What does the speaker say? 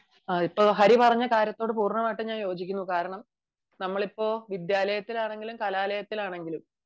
ഇപ്പം ഹരി പറഞ്ഞ കാര്യത്തോട് പൂർണമായും യോജിക്കുന്നു കാരണം നമ്മൾ ഇപ്പോൾ വിദ്യാലയത്തിലാണെങ്കിലും കലാലയത്തിലാണെങ്കിലും